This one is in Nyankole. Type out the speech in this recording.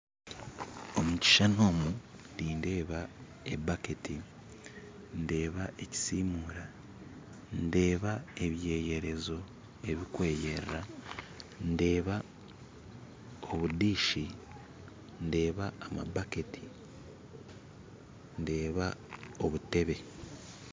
Omu kishushani omu nindeeba ebaketi ndeeba ekisimura ndeeba ebyeyerezo ebirikweyerera ndeeba obubakuri ndeeba zaabaketi ndeeba obutebe.